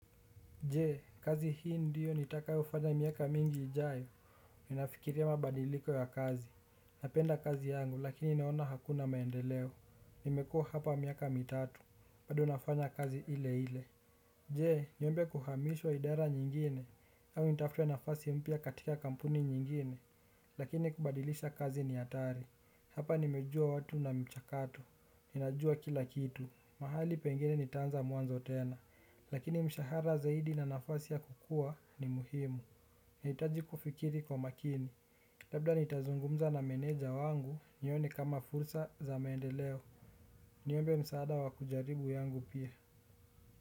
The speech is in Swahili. Je, kazi hii ndiyo nitakayofanya miaka mingi ijayo, ninafikiria mabadiliko ya kazi, napenda kazi yangu lakini naona hakuna maendeleo, nimekuwa hapa miaka mitatu, bado nafanya kazi ile ile. Je, niombe kuhamishwa idara nyingine, au nitafute nafasi mpya katika kampuni nyingine, lakini kubadilisha kazi ni hatari. Hapa nimejuwa watu na mchakato, ninajuwa kila kitu, mahali pengine nitaanza mwanzo tena, lakini mshahara zaidi na nafasi ya kukuwa ni muhimu. Nitahiji kufikiri kwa makini, labda nitazungumza na meneja wangu nione kama fursa za maendeleo. Niombe msaada wakujaribu yangu pia.